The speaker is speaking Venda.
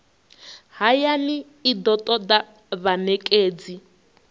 hayani i do toda vhanekedzi